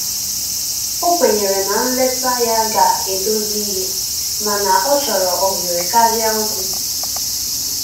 O kwenyere na nleta ya ga edozi ihe mana ọchọrọ ohere karịa okwụ